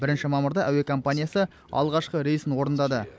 бірінші мамырда әуе компаниясы алғашқы рейсін орындады